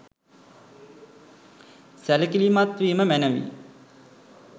සැලකිලිමත් වීම මැනවි.